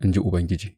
in ji Ubangiji.